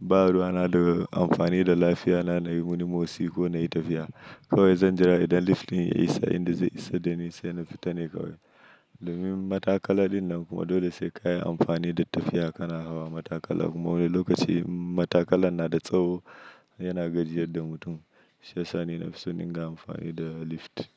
ba ruwana da amfani da lafiyana, nayi wani motsi ko nayi tafiya. Kawai zan jira idan lift ɗin ya isa inda zai isa da ni sai na fita ne kawai. Domin matakala ɗin nan kuma dole sai ka yi amfani da tafiya kana hawa matakala kuma wani lokaci in matakalan na da tsawo yana gajiyar da mutum shiyasa ni nafi so in dinga amfani da lift.